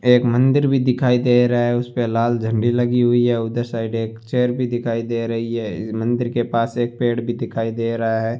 एक मंदिर भी दिखाई दे रहा है उस पे लाल झंडी लगी हुई है उधर साइड एक चेयर भी दिखाई दे रही है इस मंदिर के पास एक पेड़ भी दिखाई दे रहा है।